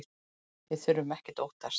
Við þurfum ekkert að óttast!